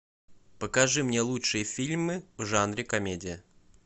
покажи мне лучшие фильмы в жанре комедия